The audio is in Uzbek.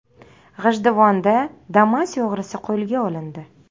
G‘ijduvonda Damas o‘g‘risi qo‘lga olindi.